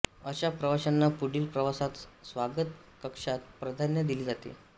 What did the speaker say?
अशा प्रवाशांना पुढील प्रवासात स्वागत कक्षात प्राधान्य दिले जाते